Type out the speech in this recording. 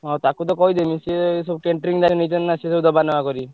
ହଁ ତାକୁ ତ କହିଦେବି ସିଏ ସବୁ catering ତାର ନିଜର ନା ସିଏ ଦବା ନବା କରିବେ।